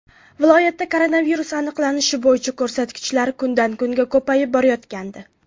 Viloyatda koronavirus aniqlanishi bo‘yicha ko‘rsatkichlar kundan kunga ko‘payib borayotgandi.